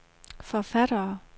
forfattere